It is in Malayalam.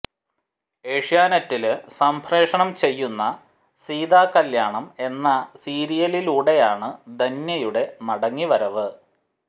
ഏഷ്യാനെറ്റില് സംപ്രേക്ഷണം ചെയ്യുന്ന സീതാകല്യാണം എന്ന സീരിയലിലൂടെയാണ് ധന്യയുടെ മടങ്ങി വരവ്